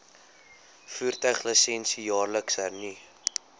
voertuiglisensie jaarliks hernu